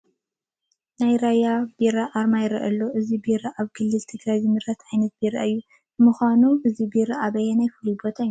ናይ ራያ ቢራ ኣርማ ይርአ ኣሎ፡፡ እዚ ቢራ ኣብ ክልል ትግራይ ዝምረት ዓይነት ቢራ እዩ፡፡ ንምዃኑ እዚ ቢራ ኣበይ ፍሉይ ቦታ ይምረት?